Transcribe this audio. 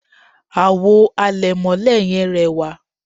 àwo àlẹ̀mọ́lẹ̀ yẹn rẹwà